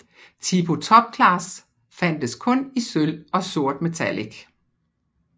Tipo TopClass fandtes kun i sølv og sortmetallic